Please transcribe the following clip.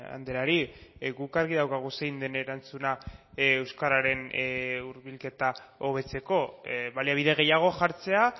andreari guk argi daukagu zein den erantzuna euskararen hurbilketa hobetzeko baliabide gehiago jartzea